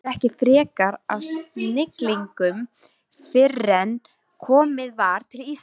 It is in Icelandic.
Segir ekki frekar af siglingunni fyrren komið var til Íslands.